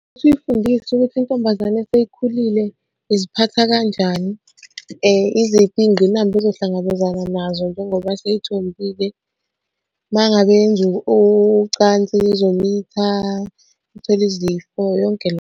Ukuthi uyifundise ukuthi intombazane seyikhulile iziphatha kanjani. Iziphi iy'ngqinamba ozohlangabezana nazo njengoba seyithombile compile. Uma ngabe yenza ucansi izomitha ithole izifo yonke.